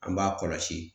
An b'a kɔlɔsi